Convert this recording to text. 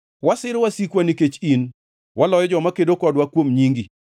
Wasiro wasikwa nikech in, waloyo joma kedo kodwa kuom nyingi.